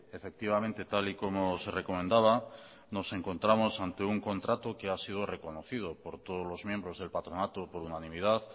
efectivamente tal y como se recomendaba nos encontramos ante un contrato que ha sido reconocido por todos los miembros del patronato por unanimidad